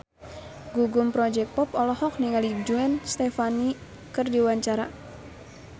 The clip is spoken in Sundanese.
Gugum Project Pop olohok ningali Gwen Stefani keur diwawancara